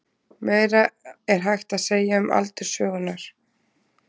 Meira er hægt að segja um aldur sögunnar.